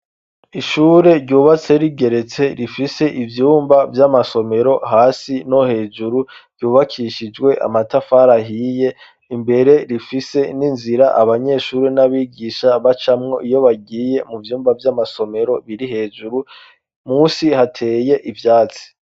Ishure ryubatse rigeretse rifise ivyumba vy'amasomero hasi no hejuru ryubakishijwe amatafari ahiye, imbere rifise n'inzira abanyeshuri n'abigisha bacamwo iyo bagiye mu vyumba vy'amasomero biri hejuru munsi hateye ivyatsi.